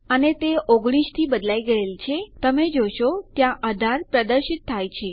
અને તે 19 થી બદલાઈ ગયેલ છે તમે જોઈ શકો છો ત્યાં 18 પ્રદર્શિત થાય છે